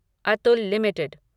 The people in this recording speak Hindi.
अतुल लिमिटेड